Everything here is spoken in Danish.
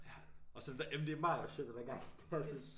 Ja og så det der ej men det Marius shit han har gang i det er så